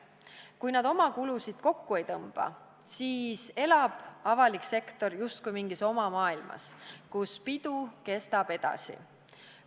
Kui nad oma kulusid kokku ei tõmba, siis elab avalik sektor justkui mingis oma maailmas, kus pidu kestab edasi.